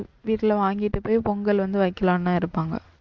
வீட்ல வாங்கிட்டு போய் பொங்கல் வந்து வைக்கலானுதான் இருப்பாங்க.